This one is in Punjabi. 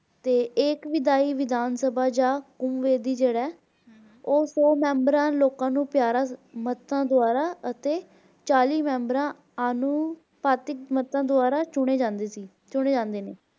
ਤੇ ਇੱਕ ਵਿਦਾਈ ਵਿਧਾਨ ਸਭ ਜਾ ਉਹ ਸੌ ਮੇਮ੍ਬਰਾਂ ਲੋਕਾਂ ਨੂੰ ਮਾਤਾ ਦੁਆਰਾ ਅਤੇ ਚਾਲੀ ਮੇਮ੍ਬਰਾਂ ਨੂੰ ਮਾਤਾ ਦੁਆਰਾ ਚੁਣੇ ਜਾਂਦੇ ਸੀ